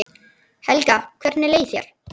Helga: Hvernig leið þér?